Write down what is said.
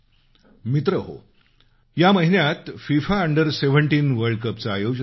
मित्र हो या महिन्यात फिफा अंडर सेव्हंटीन वर्ल्ड कपचं आयोजन झालं